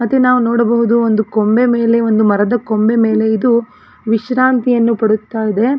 ಮತ್ತೆ ನಾವು ನೋಡಬಹುದು ಒಂದು ಕೊಂಬೆ ಮೇಲೆ ಒಂದು ಮರದ ಕೊಂಬೆ ಮೇಲೆ ಇದು ವಿಶ್ರಾಂತಿಯನ್ನು ಪಡುತ್ತಾ ಇದೆ.